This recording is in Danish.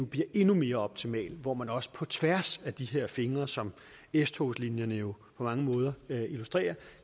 bliver endnu mere optimal hvor man også på tværs af de her fingre som s togslinjerne jo på mange måder illustrerer